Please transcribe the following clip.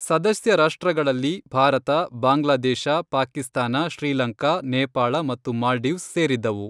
ಸದಸ್ಯ ರಾಷ್ಟ್ರಗಳಲ್ಲಿ ಭಾರತ, ಬಾಂಗ್ಲಾದೇಶ, ಪಾಕಿಸ್ತಾನ, ಶ್ರೀಲಂಕಾ, ನೇಪಾಳ ಮತ್ತು ಮಾಲ್ಡೀವ್ಸ್ ಸೇರಿದ್ದವು.